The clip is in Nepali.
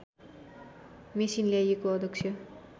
मेसिन ल्याइएको अध्यक्ष